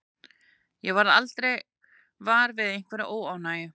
Ég varð aldrei var við einhverja óánægju.